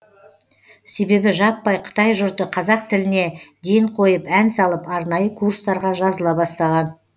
себебі жаппай қытай жұрты қазақ тіліне ден қойып ән салып арнайы курстарға жазыла бастаған